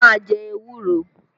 Má a jẹ ewúro!